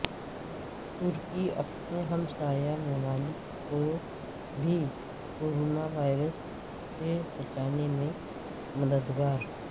ترکی اپنے ہمسایہ ممالک کو بھی کورانا وائرس سے بچانے میں مددگار